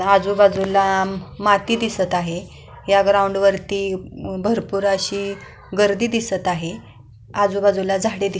आजूबाजूला माती दिसत आहे ह्या ग्राऊंड वरती खूप माती दिसत आहे.